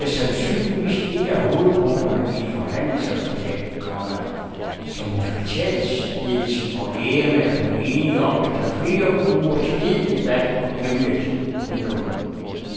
Det er sandsynligvis et af hovedpunkterne i et forhandlingsresultat, komma som hospitalsledelsen og lægerne er blevet enige om efter flere ugers hed debat om emnet. punktum